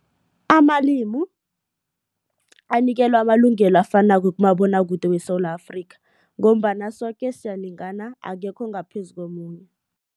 Amalimi anikelwa amalungelo afanako kumabonwakude weSewula Afrika ngombana soke siyalingana akekho ongaphezu komunye.